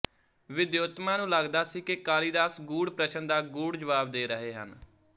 ਵਿਦਯੋੱਤਮਾ ਨੂੰ ਲੱਗਦਾ ਸੀ ਕਿ ਕਾਲੀਦਾਸ ਗੂੜ ਪ੍ਰਸ਼ਨ ਦਾ ਗੂੜ ਜਵਾਬ ਦੇ ਰਹੇ ਹਨ